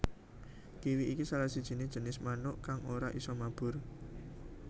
Kiwi iki salah siji jinis manuk kang ora isa mabur